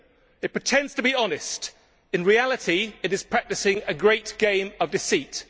It pretends to be honest, but in reality it is practising a great game of deceit.